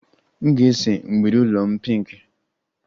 M ga-ese mgbidi ụlọ m pinki